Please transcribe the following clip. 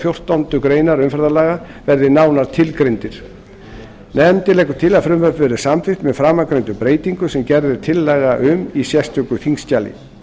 fjórtándu greinar umferðarlaga verði nánar tilgreindir nefndin leggur til að frumvarpið verði samþykkt með framangreindum breytingum sem gerð er tillaga um í sérstöku þingskjali